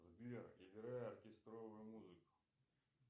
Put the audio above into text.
сбер играй оркестровую музыку